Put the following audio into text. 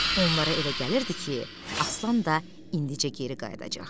Onlara elə gəlirdi ki, Aslan da indicə geri qayıdacaq.